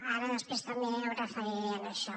ara després també em referiré a això